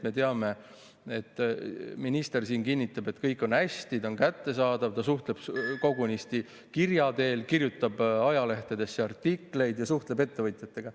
Me teame, et minister siin kinnitab, et kõik on hästi kättesaadav, ta suhtleb kogunisti kirja teel, kirjutab ajalehtedes artikleid ja suhtleb ettevõtjatega.